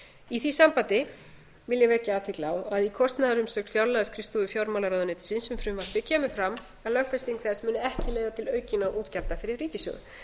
í því sambandi vil ég vekja athygli á að í kostnaðarumsögn fjárlagaskrifstofu fjármálaráðuneytisins um frumvarpið kemur fram að lögfesting þess muni ekki leiða til aukinna útgjalda fyrir ríkissjóð